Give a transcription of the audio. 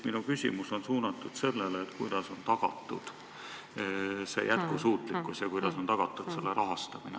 Minu küsimus ongi, kuidas on tagatud see jätkusuutlikkus, kuidas on tagatud projekti rahastamine.